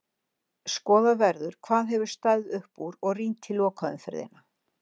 Skoðað verður hvað hefur staðið upp úr og rýnt í lokaumferðina.